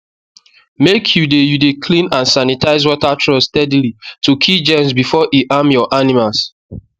make you dey you dey clean and sanitize water trough steady to kill germs before e harm your animals